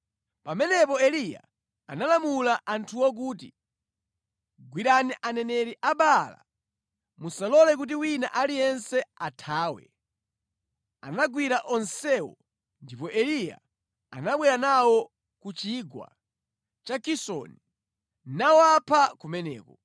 Pamenepo Eliya analamula anthuwo kuti, “Gwirani aneneri a Baala. Musalole kuti wina aliyense athawe!” Anagwira onsewo ndipo Eliya anabwera nawo ku Chigwa cha Kisoni, nawapha kumeneko.